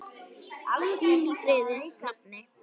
Hvíl í friði, nafni.